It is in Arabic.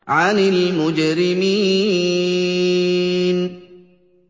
عَنِ الْمُجْرِمِينَ